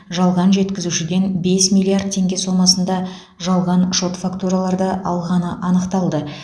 жалған жеткізушіден бес миллиард теңге сомасына жалған шот фактураларды алғаны анықталды